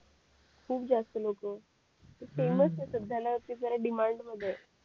खूप जास्त लोकं फेमस ये साध्या न जरा डिमांड मध्ये ये